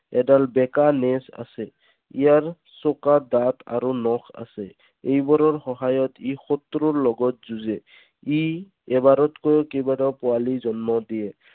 এডাল বেকা নেজ আছে। ইয়াৰ চোকা দাঁত আৰু নখ আছে। এইবাৰৰ সহায়ত ই শত্ৰুৰ লগত যুঁজে। ই এবাৰতকৈও কেইবাটাও পোৱালী জন্ম দিয়ে।